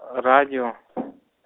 радио